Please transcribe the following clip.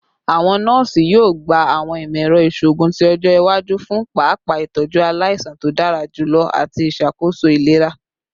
Awọn nọọsi yoo gba awọn imọ-ẹrọ iṣoogun ti ọjọ iwaju fun paapaa itọju alaisan to dara julọ ati iṣakoso ilera